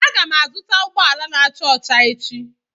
Aga m azụta ụgbọala n'acha ọcha echi